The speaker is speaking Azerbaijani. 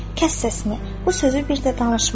Kəs səsini, bu sözü bir də danışma!